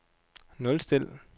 nulstil